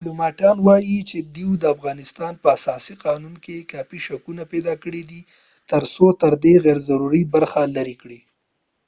ډیپلوماټان وایې چې دوی د افغانستان په اساسي قانون کې کافي شکونه پیداکړي دي تر څو ترې دا غیرضروري برخې لرې کړي